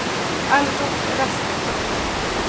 Algot Rasmusson